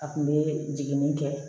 A kun be jiginni kɛ